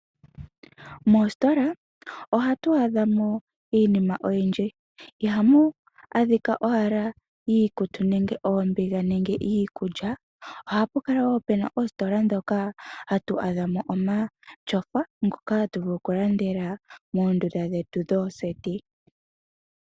Moostola ohatu adha mo iinima oyindji. Ihamu adhika owala iikutu nenge oombiga nenge iikulya, ohapu kala wo pu na oostola ndhoka hatu adha mo omatyofa ngoka hatu vulu okulandela moondunda dhetu dhooseti.